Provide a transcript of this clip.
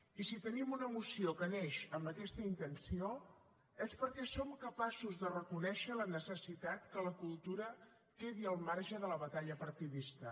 i si tenim una moció que neix amb aquesta intenció és perquè som capaços de reconèixer la necessitat que la cultura quedi al marge de la batalla partidista